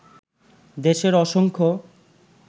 দেশের অসংখ্য